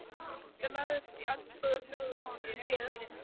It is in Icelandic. lagðist í eldsvoða fjórum mánuðum síðar.